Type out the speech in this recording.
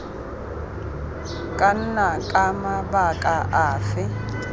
ka nna ka mabaka afe